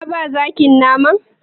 Ka ba zakin naman?